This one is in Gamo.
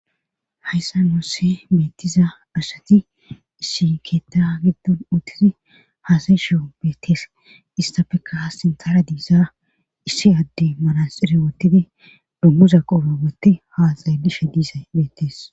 hayssa moosse meettiza asati issi keetta giddon uttizi haasayi shio beettees istapeka ha sinthara diisa issi adde malasire wottidi dummuza qubagotti haaxayy lishe diisa beettees